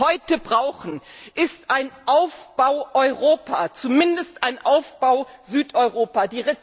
Was wir heute brauchen, ist ein Aufbau Europa, zumindest ein Aufbau Südeuropa!